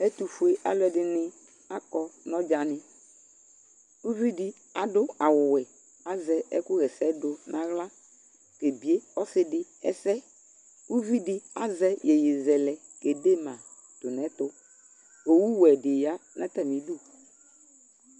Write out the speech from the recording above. Ɛtʋfuealʋ ɛdɩnɩ akɔ nʋ ɔdzanɩ Uvi dɩ adu awʋwɛ kʋ azɛ ɛkʋɣɛsɛdʋ nʋ aɣla kebie ɔsɩ dɩ ɛsɛ Uvi azɛ iyeyezɛlɛ kede ma tʋ nʋ ɛtʋ Owuwe dɩ ya nʋ atamɩ idu